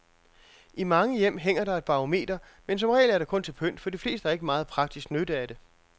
I mange hjem hænger der et barometer, men som regel er det kun til pynt, for de fleste har ikke meget praktisk nytte af det.